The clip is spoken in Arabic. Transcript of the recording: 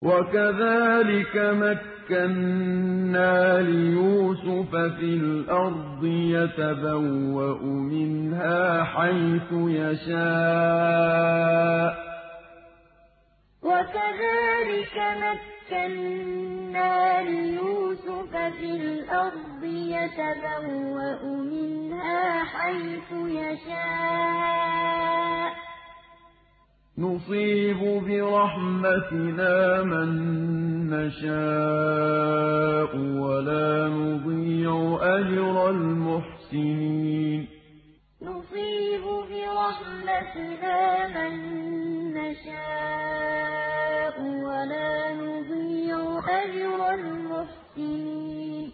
وَكَذَٰلِكَ مَكَّنَّا لِيُوسُفَ فِي الْأَرْضِ يَتَبَوَّأُ مِنْهَا حَيْثُ يَشَاءُ ۚ نُصِيبُ بِرَحْمَتِنَا مَن نَّشَاءُ ۖ وَلَا نُضِيعُ أَجْرَ الْمُحْسِنِينَ وَكَذَٰلِكَ مَكَّنَّا لِيُوسُفَ فِي الْأَرْضِ يَتَبَوَّأُ مِنْهَا حَيْثُ يَشَاءُ ۚ نُصِيبُ بِرَحْمَتِنَا مَن نَّشَاءُ ۖ وَلَا نُضِيعُ أَجْرَ الْمُحْسِنِينَ